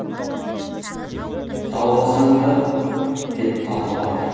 далбасаңды деп қалды батыр